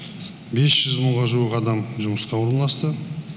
бес жүз мыңға жуық адам жұмысқа орналасты